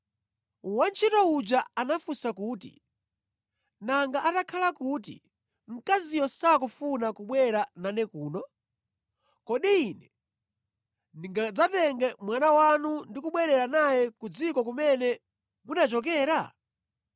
Wantchito uja anafunsa kuti, “Nanga atakhala kuti mkaziyo sakufuna kubwera nane kuno? Kodi ine ndingadzatenge mwana wanu ndi kubwerera naye ku dziko kumene munachokera?”